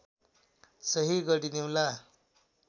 सही गरिदिउँला